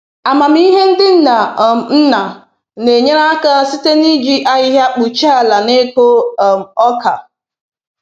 Amamihe ndị nna um nna na-enyere aka site n’iji ahịhịa kpuchie ala n’ịkụ um oka